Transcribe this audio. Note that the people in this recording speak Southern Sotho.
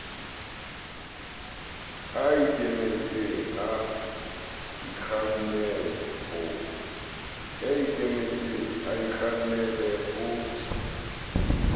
a ikemetse a ikgannale ho